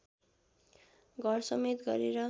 घरसमेत गरेर